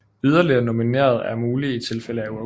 Yderligere nominerede er mulige i tilfælde af uafgjort